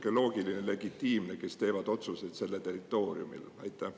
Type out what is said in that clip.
Mis oleks sihuke loogiline legitiimne arv?